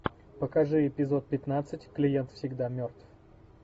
покажи эпизод пятнадцать клиент всегда мертв